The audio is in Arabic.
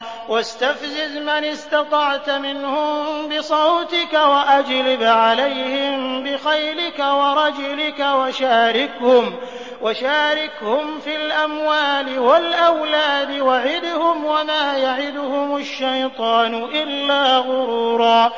وَاسْتَفْزِزْ مَنِ اسْتَطَعْتَ مِنْهُم بِصَوْتِكَ وَأَجْلِبْ عَلَيْهِم بِخَيْلِكَ وَرَجِلِكَ وَشَارِكْهُمْ فِي الْأَمْوَالِ وَالْأَوْلَادِ وَعِدْهُمْ ۚ وَمَا يَعِدُهُمُ الشَّيْطَانُ إِلَّا غُرُورًا